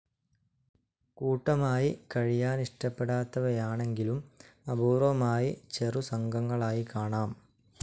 കൂട്ടമായി കഴിയാനിഷ്ടപ്പെടാത്തവയാണെങ്കിലും അപൂർവമായി ചെറുസംഘങ്ങളായി കാണാം.